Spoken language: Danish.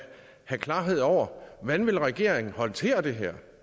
klarhed over hvordan regeringen vil håndtere det her